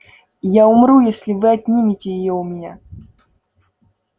я умру если вы отнимете её у меня